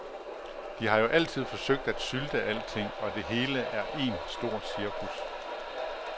De har jo altid forsøgt at sylte alting, og det hele er en stor cirkus.